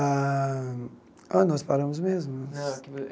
Ah, aonde nós paramos mesmo.